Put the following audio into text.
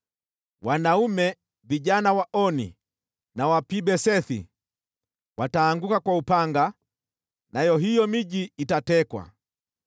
Wanaume vijana wa Oni na wa Pi-Besethi wataanguka kwa upanga nayo hiyo miji itatekwa.